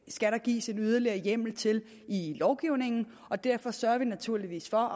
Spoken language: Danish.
skal der gives en yderligere hjemmel til i lovgivningen og derfor sørger vi naturligvis for